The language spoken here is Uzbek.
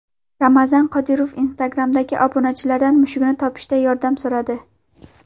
Ramzan Qodirov Instagram’dagi obunachilaridan mushugini topishda yordam so‘radi.